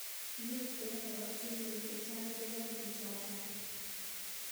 Mitei oratunwek chechang chebo tukjotok.